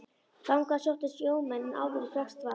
Þangað sóttu sjómenn áður ferskt vatn.